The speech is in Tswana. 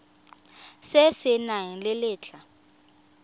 se se nang le letlha